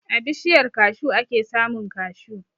A bishiyar kashu ake samun kashu.